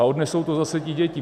A odnesou to zase ty děti.